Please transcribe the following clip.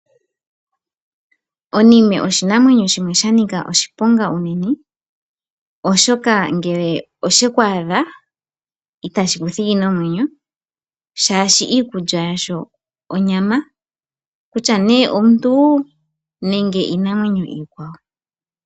Onime oshinamwenyo shimwe shanika oshiponga unene oshoka ngele osheku adha, itashi kuthigi nomwenyo shaashi iikulya yasho onyama, kutya omuntu nenge iinamwenyo iikwawo.